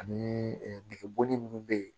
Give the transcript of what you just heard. Ani degun minnu bɛ yen